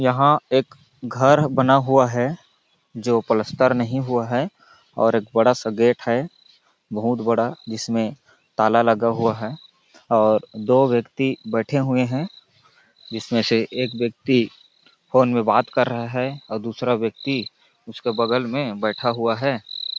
यहाँ एक घर बना हुआ है जो पलस्तर नहीं हुआ है और एक बड़ा सा गेट है बहुत बड़ा जिसमें ताला लगा हुआ है और दो व्यक्ति बैठे हुए है जिसमें से एक व्यक्ति फ़ोन में बात कर रहा है और दूसरा व्यक्ति उसके बगल में बैठा हुआ हैं।